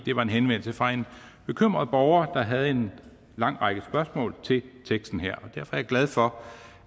var en henvendelse fra en bekymret borger der havde en lang række spørgsmål til teksten her derfor er jeg glad for